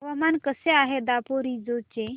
हवामान कसे आहे दापोरिजो चे